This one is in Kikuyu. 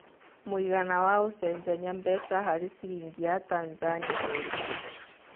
mũigana wa ũcenjanĩa mbeca harĩ cĩrĩngĩ ya Tanzania nĩ ũrĩkũ